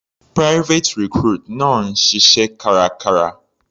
Private recruit náà ń ṣiṣẹ́ kárakára.